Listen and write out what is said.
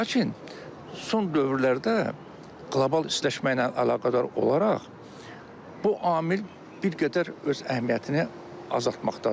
Lakin son dövrlərdə qlobal istiləşmə ilə əlaqədar olaraq bu amil bir qədər öz əhəmiyyətini azaltmaqdadır.